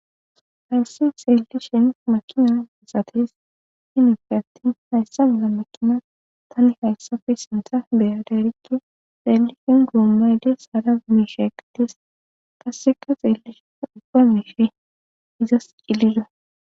hayssi xeelli shin makina misates hinife attin hayssa mila makina tani hayssafe sinta beyaderike xeellishin goommayde sara misheqtis tasseka xeelli shin ubbamifi izas cilido